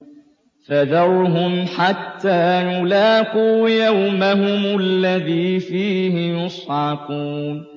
فَذَرْهُمْ حَتَّىٰ يُلَاقُوا يَوْمَهُمُ الَّذِي فِيهِ يُصْعَقُونَ